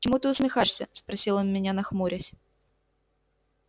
чему ты усмехаешься спросил он меня нахмурясь